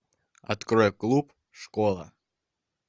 открой клуб школа